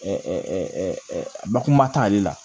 bakuruba t'ale la